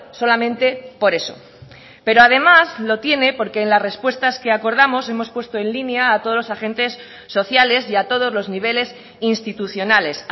solamente por eso pero además lo tiene porque en las respuestas que acordamos hemos puesto en línea a todos los agentes sociales y a todos los niveles institucionales